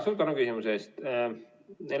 Suur tänu küsimuse eest!